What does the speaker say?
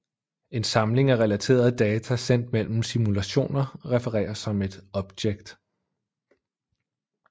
En samling af relaterede data sendt mellem simulationer refereres som et object